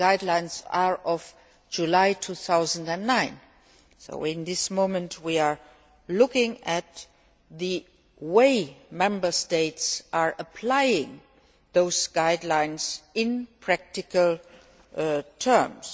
The guidelines are from July 2009, so we are now looking at the way Member States are applying those guidelines in practical terms.